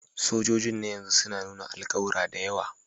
Sojojin na yanzu suna nuna alƙawura da yawa